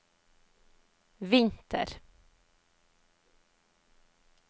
vinter